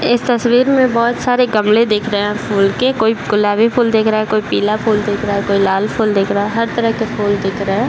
इस तस्वीर में बहुत सारी गमले दिख रहे है फूल के कोई गुलाबी फूल देख रहा है कोई पीला फूल देख रहा है कोई लाल फूल देख रहा है हर तरह के फूल दिख रहे है।